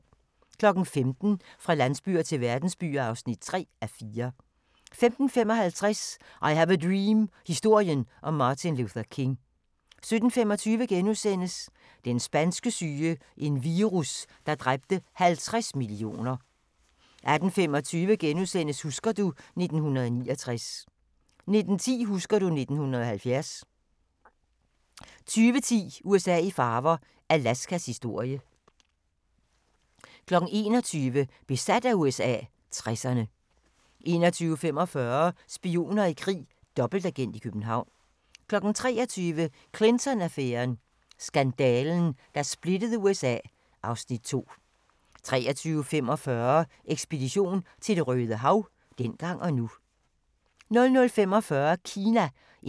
15:00: Fra landsbyer til verdensbyer (3:4) 15:55: I have a dream – historien om Martin Luther King 17:25: Den spanske syge – en virus, der dræbte 50 millioner * 18:25: Husker du ... 1969 * 19:10: Husker du ... 1970 20:10: USA i farver – Alaskas historie 21:00: Besat af USA - 60'erne 21:45: Spioner i krig: Dobbeltagent i København 23:00: Clinton-affæren: Skandalen, der splittede USA (Afs. 2) 23:45: Ekspedition til Det Røde Hav – dengang og nu